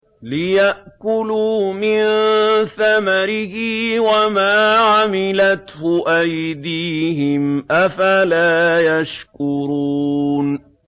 لِيَأْكُلُوا مِن ثَمَرِهِ وَمَا عَمِلَتْهُ أَيْدِيهِمْ ۖ أَفَلَا يَشْكُرُونَ